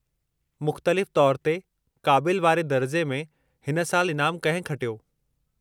मुख़्तलिफ़ु तौरु ते क़ाबिलु वारे दर्जे में हिन साल इनामु कंहिं खटियो?